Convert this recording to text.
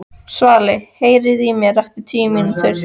Svali, heyrðu í mér eftir níu mínútur.